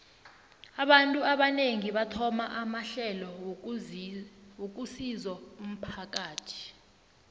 abantu abanengi bathoma amahlelo wokusizo umphakathi